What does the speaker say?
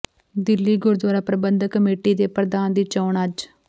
ਦਿੱਲੀ ਗੁਰਦੁਆਰਾ ਪ੍ਰਬੰਧਕ ਕਮੇਟੀ ਦੇ ਪ੍ਰਧਾਨ ਦੀ ਚੋਣ ਅੱਜ